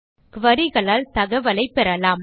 queriesகளால் தகவலை பெறலாம்